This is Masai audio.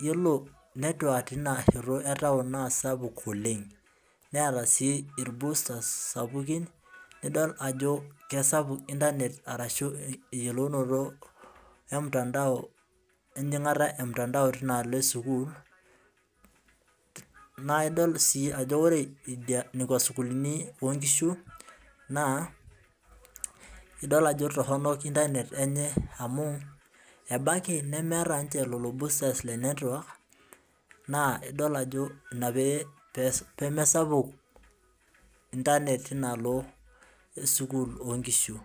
yiolot network teina shoto naa sapuk oleng,.neeta sii ilbustas sapukin. nidol ajo kisapuk internet arashu eyiolounoto, emtandao, ejingata e mutandao teina alo esukuul, naa idol sii ajo ore nekua sukuulini, ok nkishu naa, idol ajo torono internet enye, amu ebaiki, nemeeta ninche lelo boosters le network ,naa idol ajo Ina pee mesapuk internet teina alo esukuul oo nkishu.